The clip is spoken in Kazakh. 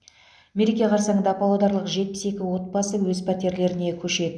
мереке қарсаңында павлодарлық жетпіс екі отбасы өз пәтерлеріне көшеді